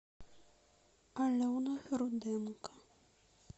алена руденко